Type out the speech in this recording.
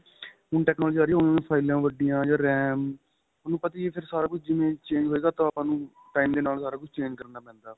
ਹੁਣ technology ਆ ਰਹੀ ਹੈ ਉਵੇਂ ਉਵੇਂ ਫਾਇਲਾਂ ਵੱਡੀਆਂ ਜਾਂ RAM ਤੁਹਾਨੂੰ ਪਤਾ ਈ ਏ ਫਿਰ ਸਾਰਾ ਕੁੱਝ ਜਿਵੇਂ change ਹੋਏਗਾ ਤਾਂ ਆਪਾਂ time ਦੇ ਨਾਲ ਸਾਰਾ ਕੁੱਝ change ਕਰਨਾ ਪੈਂਦਾ